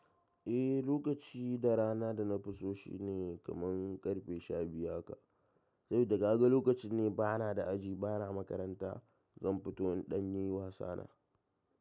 Eh lokaci da rana da na fi so shine kaman ƙarfe shabiyu haka. Saboda kaga lokacin ne bana da aji, bana makaranta, zan fito in ɗan yi wasana.